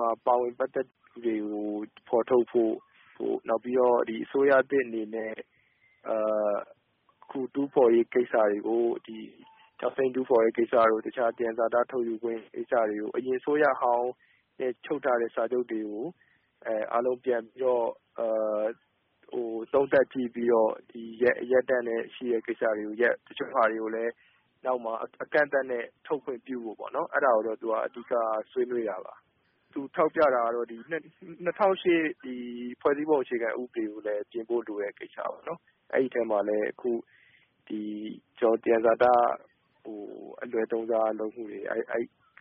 မှာ ပါဝင်ပတ်သက်သူတွေကို ဖော်ထုတ်ဖို့၊ အစိုးရသစ်အနေနဲ့ အခု တူးဖော်ရေးကိစ္စတွေကို ကျောက်စိမ်းတူးဖော်တဲ့ကိစ္စတို့၊ တခြား သယံဇာတထုတ်ယူခွင့်ကိစ္စတွေကို အရင်အစိုးရဟောင်းနဲ့ ချုပ်ထားတဲ့စာချုပ်တွေကို အားလုံး ပြန်ပြီးတော့ သုံးသပ်ကြည့်ပြီးတော့ ရပ်တန့်သင့်တဲ့ကိစ္စတွေကို ရပ်၊ တချို့ဟာတွေကိုလည်း နောက်မှ အကန့်အသတ်နဲ့ ထုတ်ခွင့်ပြုဖို့ပေါ့နော် အဲဒါကိုတော့ သူက အဓိက ဆွေးနွေးတာပါ။ သူ ထောက်ပြတာကတော့ ဒီ ၂၀၀၈ ဖွဲ့စည်းပုံ အခြေခံဥပဒေကိုလည်း ပြင်ဖို့ လိုအပ်တဲ့ကိစ္စပေါ့နော်။ အဲဒီထဲမှာလည်း အခု ကျနော်တို့ သယံဇာတအလွဲသုံးစားလုပ်မှုတွေ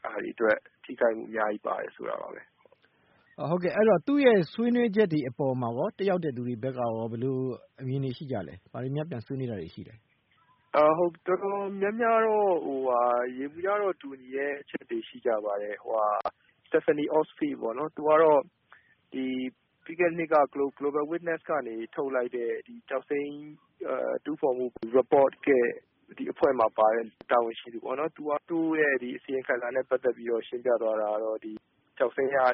အဲဒီဟာတွေအတွက် ထိခိုက်မှု အများကြီး ပါတယ် ဆိုတာပါပဲ။” သြော် ဟုတ်ကဲ့ အဲဒီတော့ သူ့ရဲ့ ဆွေးနွေးချက်တွေ အပေါ်မှာရော တက်ရောက်တဲ့သူတွေ ဘက်ကရော ဘယ်လိုအမြင်တွေရှိကြသလဲ။ ဘာတွေများ ပြန်ဆွေးနွေးတာတွေ ရှိသလဲ။ တော်တော်များများ ယေဘုယျအားဖြင့် တူညီတဲ့အချက်တွေ ရှိကြပါတယ်။ Stefanie Ostfeld ပေါ့နော် သူကတော့ ပြီးခဲ့တဲ့နှစ် Global Witness ကနေ ထုတ်လိုက်တဲ့ ကျောက်စိမ်းတူးဖော်မှု အစီရင်ခံစာရဲ့ အဖွဲ့မှာပါတဲ့ တာဝန်ရှိသူပေါ့နော်။ သူ့ရဲ့အစီရင်ခံစာနဲ့ ပတ်သက်ပြီးတော့ ရှင်းပြသွားတာကတော့ - ကျောက်စိမ်းက မြန်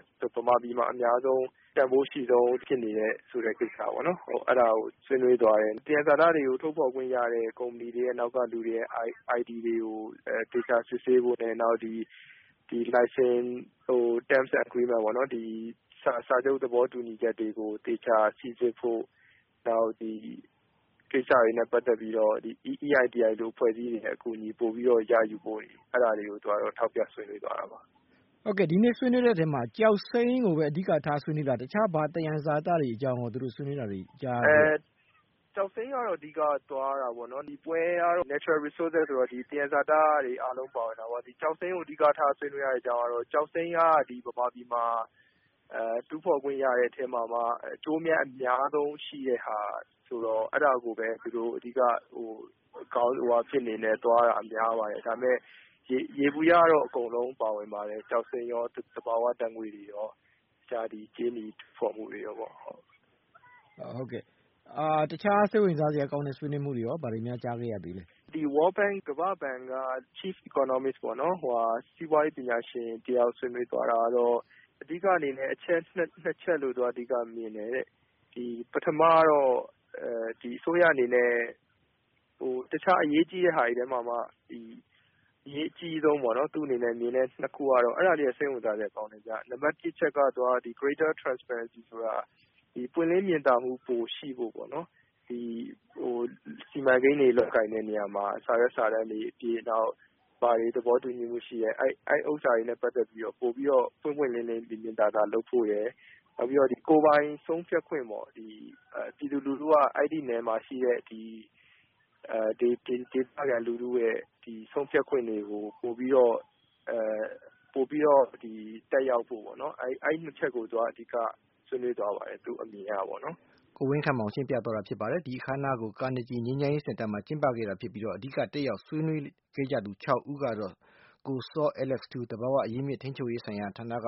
မာပြည်မှာ အများဆုံး တန်ဖိုးအရှိဆုံးဖြစ်နေတဲ့ ကိစ္စပေါ့နော်။ အဲဒါကို ဆွေးနွေးသွားတယ်။ သယံဇာတတွေကို ထုတ်ဖော်ခွင့်ရတဲ့ ကုမ္ပဏီတွေနောက်က ID တွေကို သေချာစစ်ဆေးဖို့နဲ့ နောက် လိုင်စင် Terms and Agreement ပေါ့နော် စာချုပ်သဘောတူညီချက်တွေကို သေချာစိစစ်ဖို့၊ နောက် ဒီကိစ္စတွေနဲ့ ပတ်သက်ပြီးတော့ EITI လို အဖွဲ့အစည်းတွေရဲ့ အကူအညီ ပိုပြီးတော့ ရယူဖို့၊ အဲဒါတွေကို သူက ထောက်ပြဆွေးနွေးသွားတာပါ။ ဟုတ်ကဲ့ ဒီနေ့ ဆွေးနွေးတဲ့ထဲမှာ ကျောက်စိမ်းကိုပဲ အဓိကထား ဆွေးနွေးတာလား။ တခြား ဘာသယံဇာတတွေနဲ့ ပတ်သက်ပြီးတော့ ဆွေးနွေးတာမျိုး ကြားရသေးလဲ။ ကျောက်စိမ်းကတော့ အဓိကသွားတာပေါ့နော်။ ဒီပွဲကတော့ Natural Resources ဆိုတော့ သယံဇာတတွေ အားလုံး ပါဝင်တာပေါ့။ ကျောက်စိမ်းကို အဓိကထား ဆွေးနွေးရတဲ့ အကြောင်းရင်းကတော့ ကျောက်စိမ်းက ဗမာပြည်မှာ တူးဖော်ခွင့်ရတဲ့အထဲမှာမှ အကျိုးအမြတ် အများဆုံးရှိတဲ့ဟာ အဲဒါကိုပဲ သူတို့ အဓိက ခေါင်းစဉ်အနေနဲ့သွားတာပေါ့နော်။ ဒါပေမဲ့ ယေဘုယျတော့ အကုန်လုံး ပါဝင်ပါတယ်။ ကျောက်စိမ်းရော၊ သဘာဝဓာတ်ငွေ့တွေရော၊ တခြား ကြေးနီတူးဖော်မှုတွေရောပေါ့။ တခြား စိတ်ဝင်စားစရာကောင်းတဲ့ ဆွေးနွေးမှုတွေရော ဘာတွေများ ကြားခဲ့ရသေးလဲ။ World Bank ကမ္ဘာ့ဘဏ်က စီးပွားရေးပညာရှင်တယောက် ဆွေးနွေးသွားတာကတော့ အဓိက အချက် ၂ ချက်လို့ သူက မြင်တယ်တဲ့။ ဒီအစိုးရအနေနဲ့ တခြားအရေးကြီးတဲ့ ဟာတွေထဲမှာမှ အရေးအကြီးဆုံးလို့ သူ့အနေနဲ့ မြင်တာကတော့ ၁ အချက် ပွင့်လင်းမြင်သာမှု ပိုရှိဖို့ပေါ့နော်။ စီမံကိန်းတွေ လုပ်ကိုင်တဲ့နေရာမှာ စာရွက်စာတမ်းတွေအပြင် ဘာတွေ သဘောတူညီမှုရှိတယ်၊ အဲဒီဥစ္စာတွေနဲ့ ပတ်သက်ပြီးတော့ ပိုပြီးတော့ ပွင့်ပွင့်လင်းလင်း မြင်မြင်သာသာ လုပ်ဖို့ရယ်၊ နောက်ပြီးတော့ ကိုယ်ပိုင်ဆုံးဖြတ်ခွင့်ပေါ့ ပြည်သူလူထုက အဲဒီနယ်မှာရှိတဲ့ ဒေသခံလူထုရဲ့ ဆုံးဖြတ်ခွင့်တွေကို ပိုပြီးတော့ သက်ရောက်ဖို့ပေါ့နော်။ အဲဒီနှစ်ချက်ကို သူက အဓိက ဆွေးနွေးသွားပါတယ် သူ့အမြင်ကပေါ့နော်။ ကိုဝင်းခန့်မောင် တက်ရောက်သတင်းယူခဲ့တာဖြစ်ပါတယ်။ ဒီအခမ်းအနားကို Carnegie ငြိမ်းချမ်းရေးစင်တာမှာ ကျင်းပခဲ့တာဖြစ်ပြီး၊ အဓိက တက်ရောက် ဆွေးနွေးခဲ့ကြသူ ၆ ဦးကတော့ ကိုစောအဲလက်စ်ထူး၊ သဘာဝအရင်းအမြစ် ထိန်းချုပ်ရေးဌာနက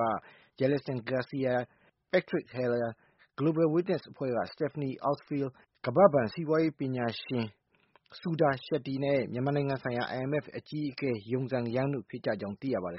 Jelson Garcia၊ Patrick Heller၊ Global Witness အဖွဲ့က Stefanie Ostfeld၊ ကမ္ဘာ့ဘဏ် စီးပွားရေးပညာရှင် Sudhir Shetty နဲ့ မြန်မာနိုင်ငံဆိုင်ရာ IMF အကြီးအကဲ Yongzheng Yang တို့ဖြစ်ကြောင်း သိရပါတယ်